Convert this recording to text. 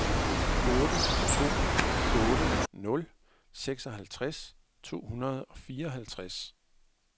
otte to otte nul seksoghalvtreds to hundrede og fireoghalvtreds